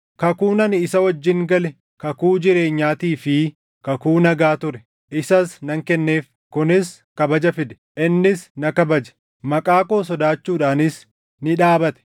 “Kakuun ani isa wajjin gale kakuu jireenyaatii fi kakuu nagaa ture; isas nan kenneef; kunis kabaja fide; innis na kabaje; maqaa koo sodaachuudhaanis ni dhaabate.